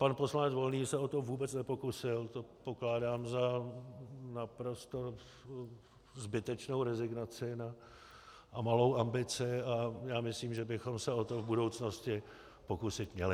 Pan poslanec Volný se o to vůbec nepokusil, to pokládám za naprosto zbytečnou rezignaci a malou ambici a já myslím, že bychom se o to v budoucnosti pokusit měli.